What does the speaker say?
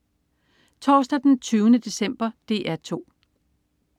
Torsdag den 20. december - DR 2: